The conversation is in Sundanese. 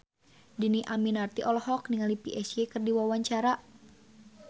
Dhini Aminarti olohok ningali Psy keur diwawancara